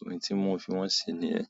ohun tí mo fi wọ́n ṣe ni ẹ́.